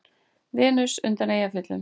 Venus undan Eyjafjöllum?